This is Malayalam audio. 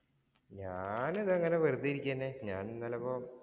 ഞാനിതങ്ങനെ വെറുതെ ഇരിക്കയാണ്. ഞാനിന്നു ചെലപ്പം